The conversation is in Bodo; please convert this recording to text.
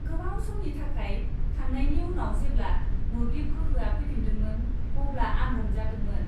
गोबाव समनि थाखाय थांनायनि उनाव जेब्ला मोब्लिब गोहोआ फैफिनदोंमोन अब्ला आं रंजादोंमोन।